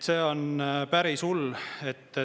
See on päris hull.